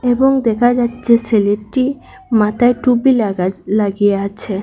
এবং দেখা যাচ্ছে ছেলেটি মাথায় টুপি লাগা লাগিয়ে আছে।